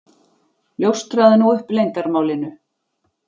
Ljóstraðu nú upp leyndarmálinu.